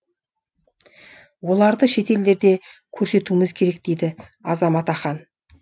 оларды шет елдерге көрсетуіміз керек дейді азамат ахан